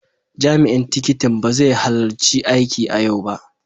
Jami'in tikitin ba zai halarci aiki a yau ba.